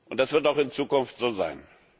Das wird auch in Zukunft so sein.